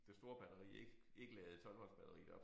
Det store batteri ikke ikke ladede 12 volts batteriet op